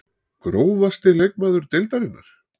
Grófasti leikmaður deildarinnar?????